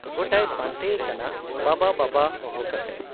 ᱜᱚᱴᱟᱭ ᱯᱟᱱᱛᱮ ᱭᱮ ᱠᱟᱱᱟᱵᱟᱵᱟ ᱵᱟᱵᱟ ᱦᱚᱦᱚ ᱠᱟᱛᱮ ᱾